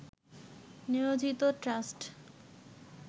নিয়োজিত ট্রাস্ট